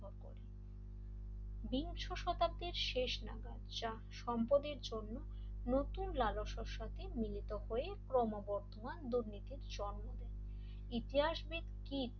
বিংশ শতাব্দীর শেষ নাগাদ যা সম্পদের জন্য নতুন লালসার সাথে মিলিত হয়ে ক্রমবর্ধমান দুর্নীতির জন্ম দেয় ইতিহাসবিদ কিড